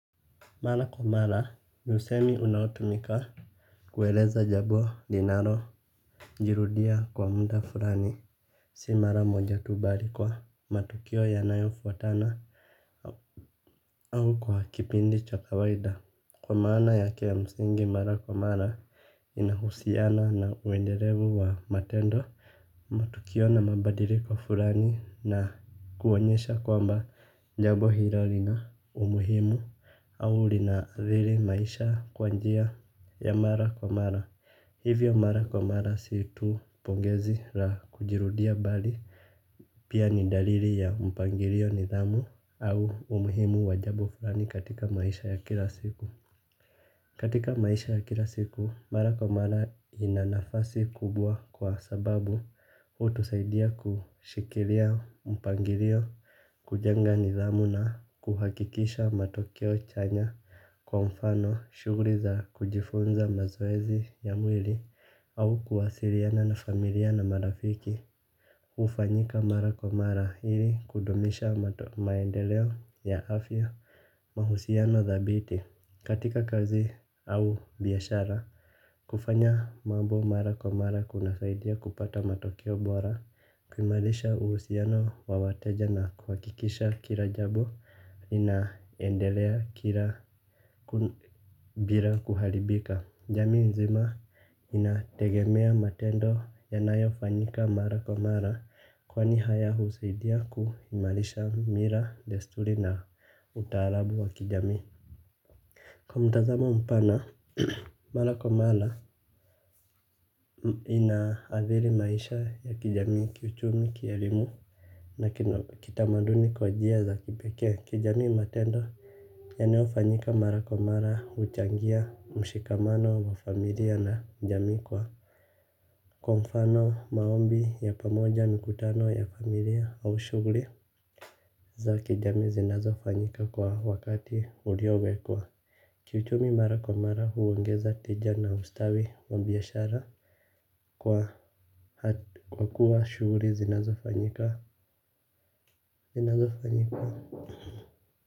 Mara kwa mara ni usemi unaotumika kueleza jabo linaro jirudia kwa mta furani. Si mara moja tubari kwa matukio ya nayo fuatana au kwa kipindi cha kawaida. Kwa maana ya ke ya msingi mara kwa mara inahusiana na uenderevu wa matendo matukio na mabadiriko furani na kuonyesha kwamba jabo hilo lina umuhimu. Au linaadhili maisha kwanjia ya mara kwa mara. Hivyo mara kwa mara siitu pongezi la kujirudia bali pia ni daliri ya mpangirio nidhamu au umuhimu wajabu fulani katika maisha ya kila siku. Katika maisha ya kila siku, mara kwa mara inanafasi kubwa kwa sababu hutu saidia kushikilia mpangirio, kujenga nidhamu na kuhakikisha matokeo chanya kwa mfano shuguri za kujifunza mazoezi ya mwili au kuwasiriana na familia na marafiki. Hufanyika mara kwa mara ili kudumisha maendeleo ya afya, mahusiano thabiti katika kazi. Au biashara, kufanya mambo mara kwa mara kunasaidia kupata matokeo bora, kuimarisha uhusiano wa wateja na kuhakikisha kila jambo linaendelea bila kuharibika. Jamii nzima inategemea matendo yanayofanyika mara kwa mara, kwani haya husaidia kuimarisha mila, desturi na utamaduni wa kijamii. Kwa mtazamo mpana, mara kwa mara inaathiri maisha ya kijamii, kiuchumi, kielimu na kitamaduni kwa njia za kipekee. Kijamii, matendo yanayofanyika mara kwa mara huchangia mshikamano wa familia na jamii. Kwa mfano, maombi ya pamoja, mikutano ya familia au shughuli za kijamii zinazofanyika kwa wakati uliowekwa. Kiuchumi, mara kwa mara huongeza tija na ustawi wa biashara. Kwa kuwa shughuli zinazofanyika, zinazofanyika.